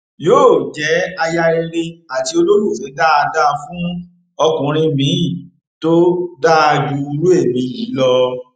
yóò jẹ aya rere àti olólùfẹ dáadáa fún ọkùnrin miín tó dáa ju irú ẹmí yìí lọ